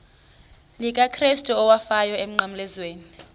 likakrestu owafayo emnqamlezweni